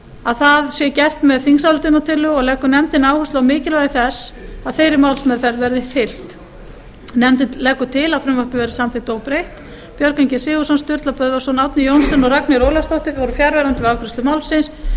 að það sé gert með þingsályktunartillögu og leggur nefndin áherslu á mikilvægi þess að þeirri málsmeðferð sé fylgt nefndin leggur til að frumvarpið verði samþykkt óbreytt björgvin g sigurðsson sturla böðvarsson árni johnsen og ragnheiður ólafsdóttir voru fjarverandi við afgreiðslu málsins